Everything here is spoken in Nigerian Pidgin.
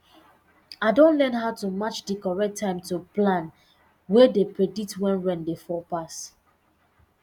i don learn how to match di correct time to plan wey dey predict when rain dey fall pass